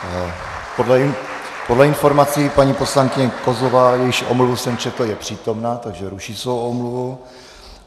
Podle informací paní poslankyně Kozlová, jejíž omluvu jsem četl, je přítomna, takže ruší svou omluvu.